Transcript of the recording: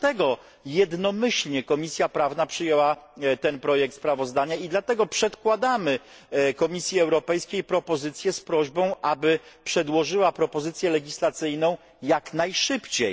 I dlatego jednomyślnie Komisja Prawna przyjęła ten projekt sprawozdania, i dlatego przedkładamy Komisji Europejskiej propozycje z prośbą, aby przedłożyła propozycję legislacyjną jak najszybciej.